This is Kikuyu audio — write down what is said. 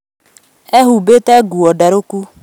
Ehumbĩte nguo ndarũku